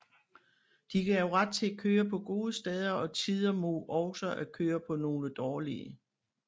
De gav ret til at køre på gode steder og tider mod også at køre på nogle dårlige